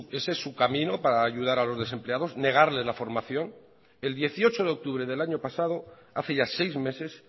ese es su camino para ayudar a los desempleados negarles la formación el dieciocho de octubre del año pasado hace ya seis meses